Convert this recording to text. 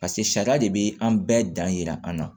Paseke sariya de bɛ an bɛɛ dan yira an na